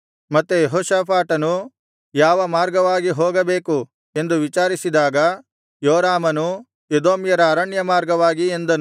ಮತ್ತೆ ಯೆಹೋಷಾಫಾಟನು ಯಾವ ಮಾರ್ಗವಾಗಿ ಹೋಗಬೇಕು ಎಂದು ವಿಚಾರಿಸಿದಾಗ ಯೋರಾಮನು ಎದೋಮ್ಯರ ಅರಣ್ಯ ಮಾರ್ಗವಾಗಿ ಎಂದನು